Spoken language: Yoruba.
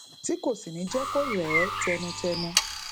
tí kò sì ní jé kó rè é tẹnutẹnu